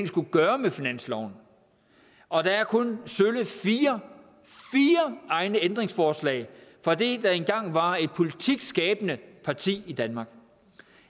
skulle gøre med finansloven og der er kun sølle fire fire egne ændringsforslag fra det der engang var et politikskabende parti i danmark